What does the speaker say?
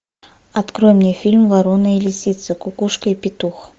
открой мне фильм ворона и лисица кукушка и петух